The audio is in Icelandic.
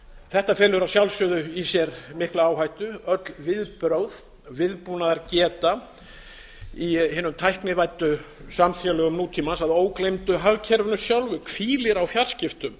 þetta felur að sjálfsögðu í sér mikla áhættu öll viðbrögð viðbúnaðar geta í hinum tæknivæddu samfélögum nútímans að ógleymdu hagkerfinu sjálfu hvílir á fjarskiptum